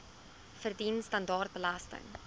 verdien standaard belasting